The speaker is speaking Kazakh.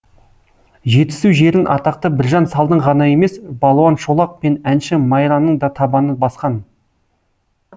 жетісу жерін атақты біржан салдың ғана емес балуан шолақ пен әнші майраның да табаны басқан